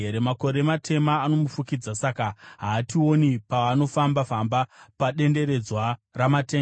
Makore matema anomufukidza, saka haationi paanofamba-famba padenderedzwa ramatenga.’